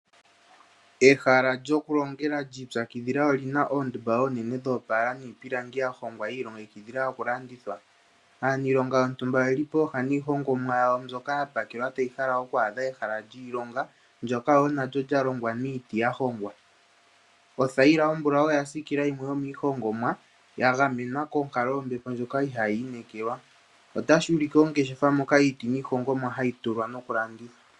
Ehala lyokulongela lyi ipyakidhila oli na oondumba oonene dhoopaala niipilangi ya hongwa yi ilongekidhila okulandithwa. Aaniilonga yontumba oye li pooha niihongomwa yawo mbyoka ya pakelwa tayi hala oku adha ehala lyiilonga, ndyoka wo lya longwa niiti ya hongwa. Othayila ombulau oya siikila yimwe yomiihongomwa ya gamenwa konkalo yombepo ndjoka ihaayi inekelwa. Otashi ulike ongeshefa moka iiti niihongomwa hayi tulwa nokulandithwa.